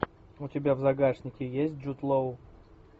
у тебя в загашнике есть джуд лоу